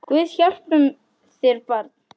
Guð hjálpi þér barn!